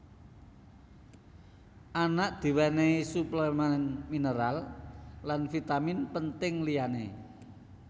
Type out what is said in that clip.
Anak diwènèhi suplemèn mineral lan vitamin penting liyané